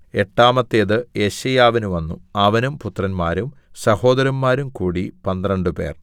എട്ടാമത്തേത് യെശയ്യാവിന് വന്നു അവനും പുത്രന്മാരും സഹോദരന്മാരും കൂടി പന്ത്രണ്ടുപേർ